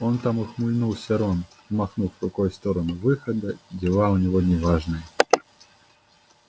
он там ухмыльнулся рон махнув рукой в сторону выхода дела у него неважные